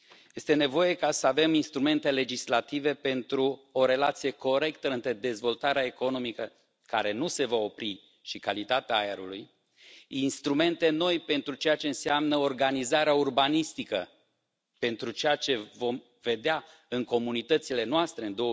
Este nevoie să avem instrumente legislative pentru o relație corectă între dezvoltarea economică, care nu se va opri, și calitatea aerului, instrumente noi pentru ceea ce înseamnă organizarea urbanistică, pentru ceea ce vom vedea în comunitățile noastre în